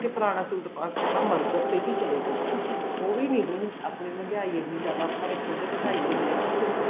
ਹੈਗਾ ਕੀ ਪੁਰਾਣਾ suit ਪਾਕੇ ਆਪਾਂ ਮਰਗਤ ਤੇ ਵੀ ਚਲੇ ਜਾਈਏ ਉਹ ਵੀ ਨੀ ਆਪਾਂ ਮਹਿੰਗਿਆਈ ਇੰਨੀ ਜਿਆਦਾ ਆਪਾਂ ਖੁੱਦ ਵਧਾਈ ਹੋਈ ਐ